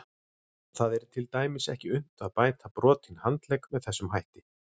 Það er til dæmis ekki unnt að bæta brotinn handlegg með þessum hætti.